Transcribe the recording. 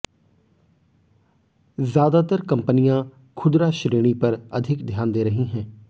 ज्यादातर कंपनियां खुदरा श्रेणी पर अधिक ध्यान दे रही हैं